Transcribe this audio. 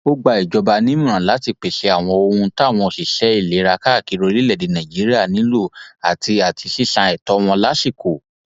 ó gba ìjọba nímọràn láti pèsè àwọn ohun táwọn òṣìṣẹ ìlera káàkiri orílẹèdè nàíjíríà nílò àti àti sísan ètò wọn lásìkò